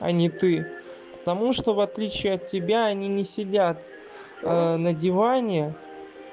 а не ты и потому что в отличие от тебя они не сидят на диване